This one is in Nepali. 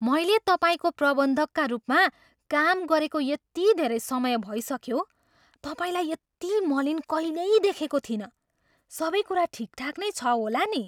मैले तपाईँको प्रबन्धकका रूपमा काम गरेको यति धेरै समय भइसक्यो, तपाईँलाई यति मलिन कहिल्यै देखेको थिइनँ। सबै कुरा ठिकठाक नै छ होला नि?